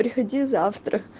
приходи завтра